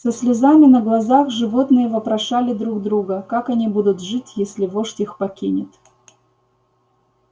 со слезами на глазах животные вопрошали друг друга как они будут жить если вождь их покинет